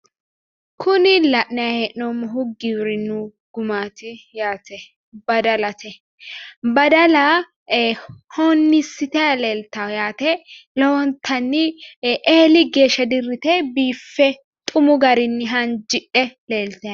Kuni la'nayi hee'noommohu giwirinnu gumaati yaate badalate. Badale wonniissitayi leeltawo yaate lowontanni eeli geeshsha dirrite biiffe xumu garinni haanjidhe leeltayi no.